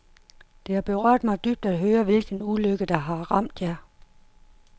Det har berørt mig dybt at høre, hvilken ulykke der har ramt jer.